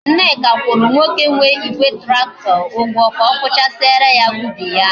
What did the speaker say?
Nneka kwuru nwoke nwe Igwe tractor Ugwo ka okuchasiara ya ubi ya